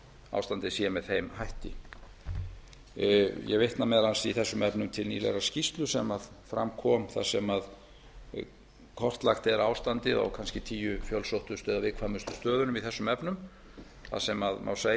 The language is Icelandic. ástandið sé með þeim hætti ég vitna meðal annars í þessum efnum til nýlegrar skýrslu sem fram kom þar sem kortlagt er ástandið á kannski tíu fjölsóttustu eða viðkvæmustu stöðunum í þessum efnum þar sem má